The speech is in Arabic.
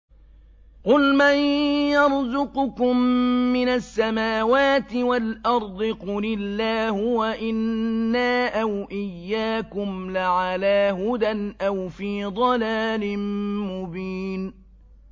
۞ قُلْ مَن يَرْزُقُكُم مِّنَ السَّمَاوَاتِ وَالْأَرْضِ ۖ قُلِ اللَّهُ ۖ وَإِنَّا أَوْ إِيَّاكُمْ لَعَلَىٰ هُدًى أَوْ فِي ضَلَالٍ مُّبِينٍ